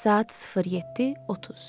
Saat 07:30.